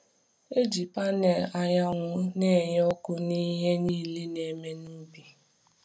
Eji panẹl anyanwụ na-enye ọkụ n’ihe niile a na-eme n’ubi.